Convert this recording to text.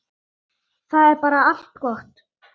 Það er bara allt gott.